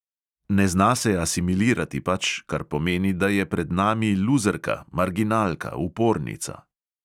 Ne zna se asimilirati pač, kar pomeni, da je pred nami luzerka, marginalka, upornica.